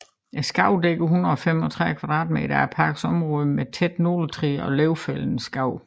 Skovene dækker 135 km2 af parkens område med tætte nåletræer og løvfældende skove